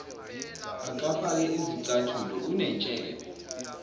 akafake zicathulo unentshebe